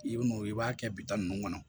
I bi n'o i b'a kɛ bitɔn nunnu kɔnɔ